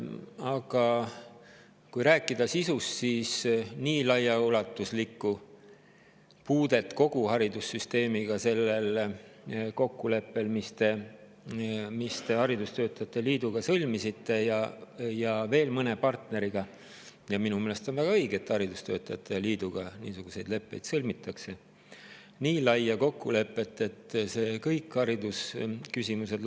Aga kui rääkida sisust, siis nii laiaulatuslikku puudet kogu haridussüsteemiga sellel kokkuleppel, mis te haridustöötajate liiduga sõlmisite ja veel mõne partneriga – ja minu meelest on väga õige, et haridustöötajate liiduga niisuguseid leppeid sõlmitakse –, ei ole, nii laia kokkulepet, et see lahendaks kõik haridusküsimused.